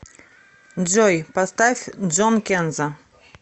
джой поставь джон кенза